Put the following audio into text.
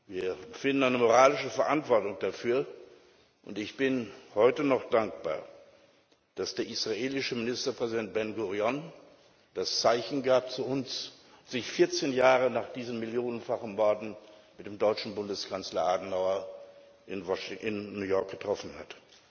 Wir empfinden eine moralische Verantwortung dafür, und ich bin heute noch dankbar, dass der israelische Ministerpräsident Ben Gurion uns das Zeichen gab und sich 14 Jahre nach diesen millionenfachen Morden mit dem deutschen Bundeskanzler Adenauer in New York getroffen hat.